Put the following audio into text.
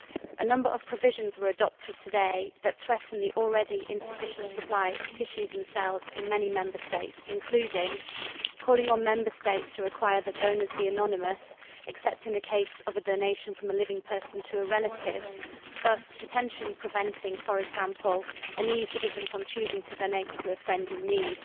A number of provisions were adopted today that threaten the already insufficient supply of tissues and cells in many Member States, including calling on Member Sates to require that donors be anonymous except in the case of a donation from a living person to a relative, thus potentially preventing, for example, an EU citizen from choosing to donate to a friend in need.